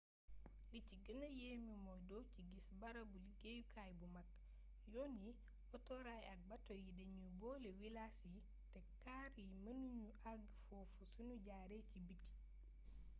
li ci gëna yéeme mooy doo ci gis barabu liggeyukay bu mag yoon yi otoraay ak bato yi dañuy boole wilaas yi te kaar yi mënu ñu àgg foofu sunu jaaree ci biti